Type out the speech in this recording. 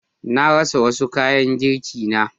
Na rasa wasu kayan girkina.